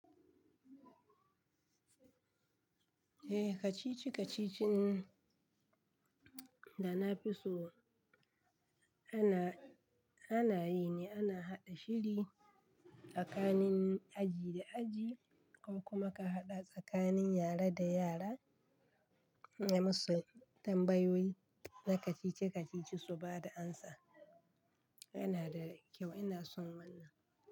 Eh, kacici-kacicin da na fi so ana, ana yi ne ana haɗa shiri tsakanin aji da aji ko kuma ka haɗa tsakanin yara da yara nayi musu tambayoyi na kacici-kacici su ba da amsa. Yana da kyau ina son wannan.